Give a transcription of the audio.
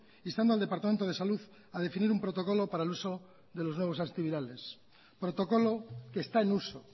instando al departamento de salud a definir un protocolo para el uso de los nuevos antivirales protocolo que está en uso